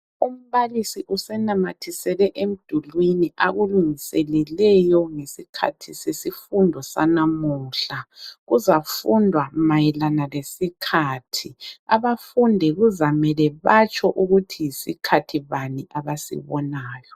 Umbalisi usenamathisele emdulwini akulungiseleleyo ngesikhathi sesifundo sanamuhla. Kuzafundwa mayelana lesikhathi. Abafundi kuzamele batsho ukuthi yisikhathi bani abasibonayo.